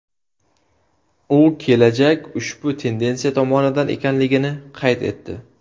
U kelajak ushbu tendensiya tomonida ekanligini qayd etdi.